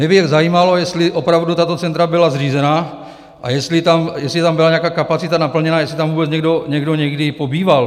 Mě by jen zajímalo, jestli opravdu tato centra byla zřízena a jestli tam byla nějaká kapacita naplněna, jestli tam vůbec někdo někdy pobýval?